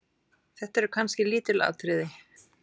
Þetta eru kannski lítil atriði.